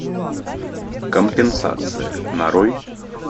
компенсация нарой